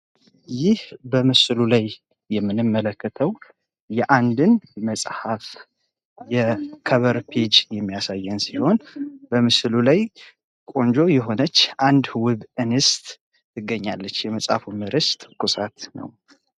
ይህ በምስሉ ላይ የምንመለከተው የአንድን መጽሐፍ የከብር ፔጅ የሚያሳየን ሲሆን በምስቱ ላይ ቆንጆ የሆነች አንድ ውብ እንስት ትገኛለች። የመጽሀፉ ርዕስ ትኩሳት ነው ።